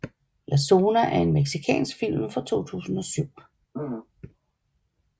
La Zona er en mexicansk film fra 2007